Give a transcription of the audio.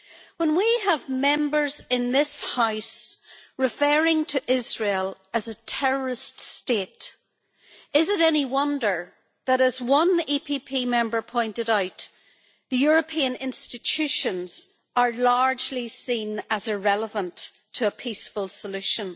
When we have Members in this House referring to Israel as a terrorist state, is it any wonder that as one EPP Member pointed out the European institutions are largely seen as irrelevant to a peaceful solution?